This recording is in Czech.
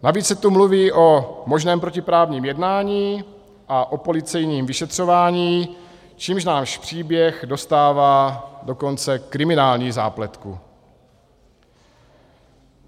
Navíc se tu mluví o možném protiprávním jednání a o policejním vyšetřování, čímž náš příběh dostává dokonce kriminální zápletku.